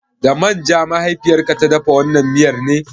Da man ja mahaifiyar ka ta dafa wannan miyar ne?